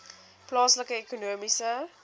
plaaslike ekonomiese